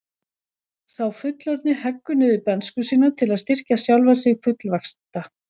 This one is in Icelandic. Sá fullorðni heggur niður bernsku sína til að styrkja sjálfan sig fullvaxta.